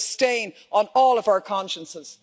This is a stain on all of our consciences.